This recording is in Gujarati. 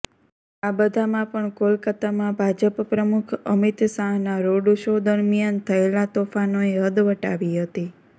આ બધામાં પણ કોલકાતામાં ભાજપ પ્રમુખ અમિત શાહના રોડશો દરમિયાન થયેલા તોફાનોએ હદ વટાવી હતી